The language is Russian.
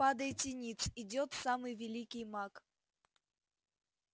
падайте ниц идёт самый великий маг